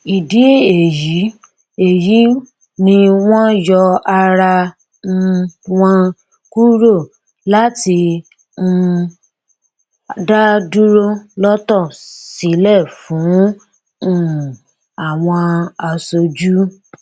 ìdí èyí èyí ni wọn yọ ara um wọn kúrò láti um dá dúró lọtọ sílẹ fún um àwọn aṣojú